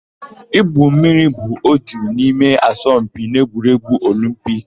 Igwu mmiri bụ ótù n'ime asọmpi n'egwuregwu Olimpiki.